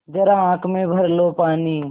ज़रा आँख में भर लो पानी